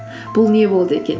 бұл не болды екен